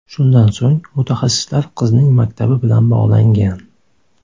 Shundan so‘ng mutaxassislar qizning maktabi bilan bog‘langan.